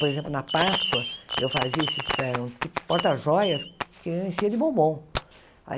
Por exemplo, na Páscoa, eu fazia esse tipo porta-joias que enchia de bombom.